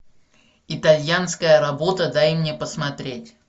итальянская работа дай мне посмотреть